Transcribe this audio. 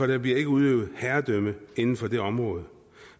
der bliver ikke udøvet herredømme inden for det område